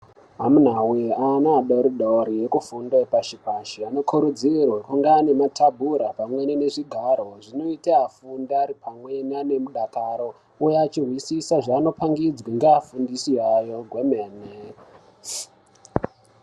Amuna we ana adodori arikufunda pashi pashi anokurudzirwa kunge ane matabhura pamweni nezvigaro oita afundi pamweni ane mudakaro ouya achinzwisisa zvavanopangidzwa nevafundisi vavo kwemene.